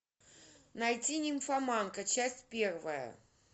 найти нимфоманка часть первая